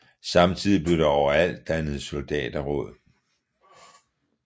Samtidigt blev der overalt dannet soldaterråd